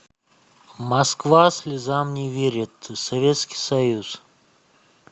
москва слезам не верит советский союз